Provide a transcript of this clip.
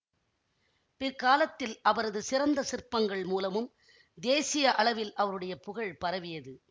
பிற்காலத்தில் அவரது சிறந்த சிற்பங்கள் மூலமும் தேசிய அளவில் அவருடைய புகழ் பரவியது